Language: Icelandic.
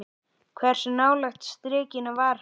Hversu nálægt strikinu var hann?